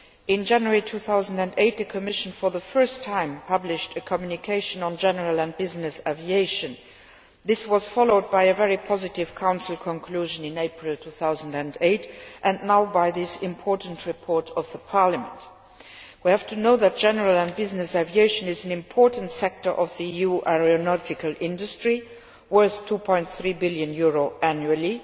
In January 2008 the Commission for the first time published a communication on general and business aviation. This was followed by a very positive Council conclusion in April 2008, and now by this important report of Parliament. General and business aviation is an important sector of the EU aeronautical industry, worth about EUR 2.3 billion annually.